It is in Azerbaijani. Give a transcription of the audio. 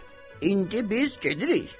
indi biz gedirik.